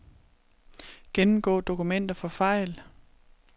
Gennemgå dokumenter for fejl.